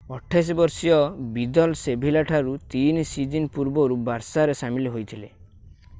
28 ବର୍ଷୀୟ Vidal Sevilla ଠାରୁ 3 season ପୂର୍ବରୁ ବାର୍ସାରେ ସାମିଲ ହୋଇଥିଲେ